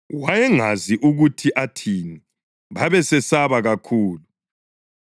(Wayengazi ukuthi athini, babesesaba kakhulu.)